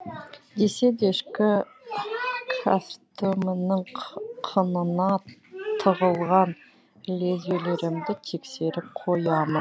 десе де ішкі кәстөмімнің қынына тығылған лезвиелерімді тексеріп қоямын